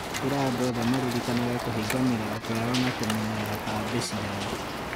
Ĩra andũ othe maririkanage kũhinga mĩrango yao na kũmenyerera cabi ciao